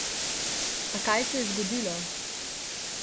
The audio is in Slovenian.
A kaj se zgodilo?